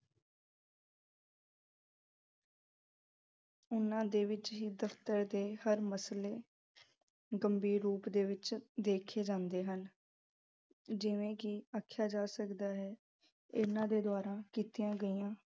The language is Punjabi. ਇਹਨਾਂ ਦੇ ਵਿੱਚ ਹੀ ਦਫ਼ਤਰ ਦੇ ਹਰ ਅਹ ਮਸਲੇ ਗੰਭੀਰ ਰੂਪ ਦੇ ਵਿੱਚ ਦੇਖੇ ਜਾਂਦੇ ਹਨ। ਜਿਵੇਂ ਕਿ ਆਖਿਆ ਜਾ ਸਕਦਾ ਹੈ ਇਹਨਾਂ ਦੇ ਦੁਆਰਾ ਕੀਤੀਆ ਗਈਆ